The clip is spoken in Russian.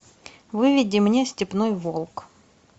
выведи мне степной волк